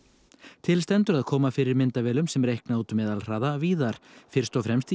til stendur að koma fyrir myndavélum sem reikna út meðalhraða víðar fyrst og fremst í